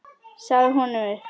Sagði honum upp.